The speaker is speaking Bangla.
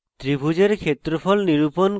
ত্রিভুজের ক্ষেত্রফল নিরূপণ করে